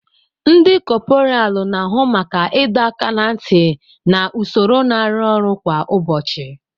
Ndi kopuralu na-ahụ maka ịdọ aka ná ntị na usoro na arụ ọrụ kwa ụbọchị.